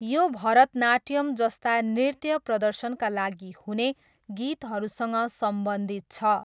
यो भरतनाट्यम जस्ता नृत्य प्रदर्शनका लागि हुने गीतहरूसँग सम्बन्धित छ।